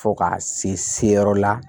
Fo ka se yɔrɔ la